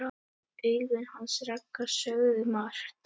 Augun hans Ragga sögðu margt.